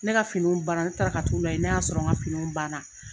Ne ka finiw ban na ne taara ka t'u lajɛ ne y'a sɔrɔ n ka fini ban na.